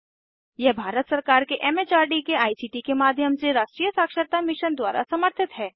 यह भारत सरकार के एम एच आर डी के आई सी टी के माध्यम से राष्ट्रीय साक्षरता मिशन द्वारा समर्थित है